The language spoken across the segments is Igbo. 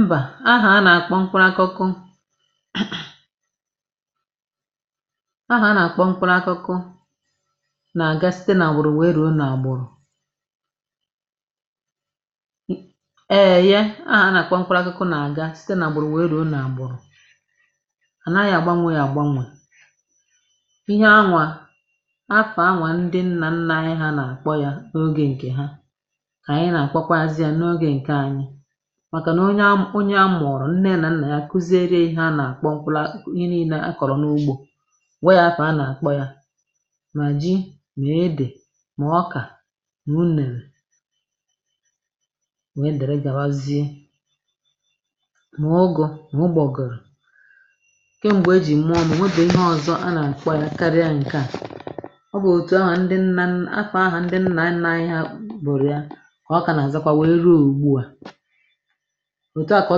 Mbà ahà a nà-àkpọ mkpụrụ akụkụ [mhnh] ahà a nà-àkpọ mkpụrụ akụkụ nà-àga site nà-àgbụrụ wèè ruo nà-àgbụrụ̀ e ye ahà a nà-àkpọ mkpụrụ akụkụ nà-àgà site nà-àgbụrụ wèè ruo nà-àgbụrụ̀ à naghị̇ àgbanwė yà àgbanwè ihe anwa afà anwa ndị nnà nna anyị nà-àkpọya n’ogė ǹkè ha kà ànyị nà àkpọkwazịà n'oge ǹkè anyị̇ màkà nà onye amụ̀ onye amụ̀ọrụ̀ nne ya nà nnà ya akụziere ihe a nà àkpọ mkpụla ihe nine a kọ̀rọ̀ n’ugbȯ gwa ya afà a nà àkpọ yȧ mà ji ma edè mà ọkà ma unèrè wèe dèrè gàwazie mà ụgụ ma ụgbọgịrị. Kèm̀gbè e jì mụọ m ọo nwebe ihe ọ̀zọ a nà àkpọ yȧ karịa ǹkèà. Ọ bụ̀ òtù anwà ndị nnà nna anyị afa anwa ndị nnà nna anyị ha bụrụ ya kà ọ kà nà-àzakwa wèe ruo ùgbu à. Otu à kà ọ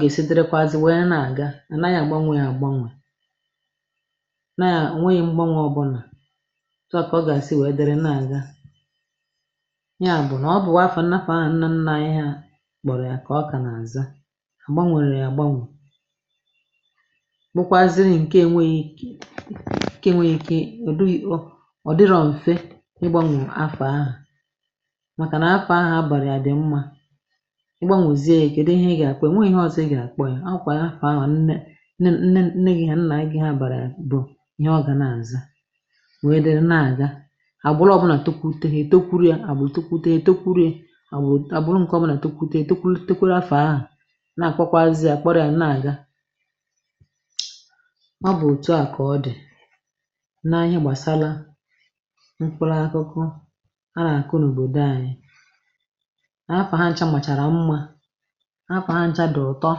gèsidịrịkwazị wèe na-àga anȧyị agbanwè ya agbanwè nà o nweghi̇ m̀gbanwe ọbụlà otu à kà ọ gesị wèe dịrị na-àga ya bụ̀ nà ọbụ̀wa afa nafọ̀ ahụ̀ nna nna anyị ha kpọrọ yà kà ọ kà nà-àza a gbanwèrè ya agbanwè bụkwazịrị ǹke enwėghi̇ ǹke enwėghi̇ ike ọdị ò ọ̀ dịrọ m̀fe ịgbȧnwè afa ahụ̀ maka nafa ahụ a baraya dị mma, ị gbanwozie ya kėdị ihe ị gà-àkpụịa enweghị ihe ọzọ̇ ị gà-àkpọ ya akwà yafa ahụ̀ nne nne gị ha na nna gị haabàrà ya bụ̀ ihe ọ gà na-àzà wèè dịrị nà-àga àgbụrọ̇ ọbụnà tokwute hȧ ètokwuru yȧ àgbụrụ tokwute ètokwuru ya agbụrụ nke ọbụnà tokwute hȧ ètokwuru tokwuru afa ahụ̀ na-àkpọkwazị ya kpọrịa na-àga. Ọ bụ̀ òtu a kà ọ dì na-ihe gbàsara mkpụlụ akụkụ a nà-àkụ n’òbòdò anyị, afà ha nchȧ màchàrà mmȧ, afà ha nchȧ dị̀ ụtọ,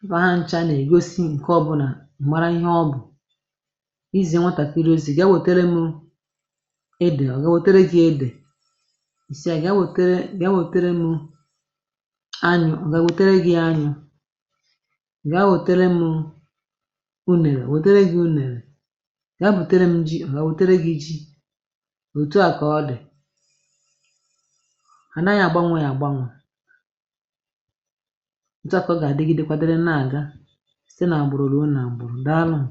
afa ha nchȧ nà ègosi ǹkẹ ọbụnà m̀ara ihe ọ bụ̀ izie nwàtàkịrị ozi̇ ga wetere m edè ọ̀ ga wètere gị̇ edè, ị sị à ga wètere m [anyụ] ọ ga wètere gị anyụ̇, gaa wètere m unèrè o wètere gị̇ unèrè, ga bùtere m ji ọ̀ ga wètere gị̇ jị. Otu à kà ọ dị̀ anaghị agbanwe ya agbanwe otu a ka ọ gà-àdịgịdekwadịrị nà àga site nà àgbụ̀rụ̀ ruo nà-àgbụ̀rụ̀, daalụ̀nụ.